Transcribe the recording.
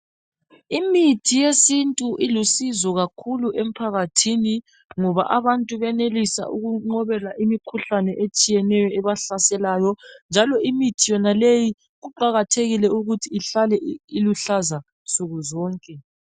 Imithi yesintu ilusizo kakhulu emphakathini ngoba abantu benelisa ukunqobela imkhuhlane etshiyeneyo ebahlaselayo njalo imithi yonaleyi kuqakathekile ukuthi ihlale iluhlaza nsuku zonke.